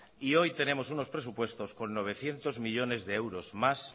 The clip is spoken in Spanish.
y hoy tenemos unos presupuestos con novecientos millónes de euros más